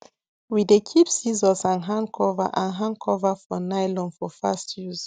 we dey keep scissors and hand cover and hand cover for nylon for fast use